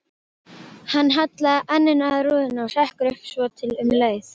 Hann hallar enninu að rúðunni, hrekkur upp svotil um leið.